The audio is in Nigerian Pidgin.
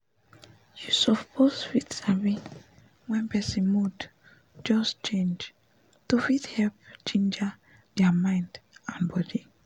you suppose fit sabi wen person mood just change to fit help ginger dia mind and body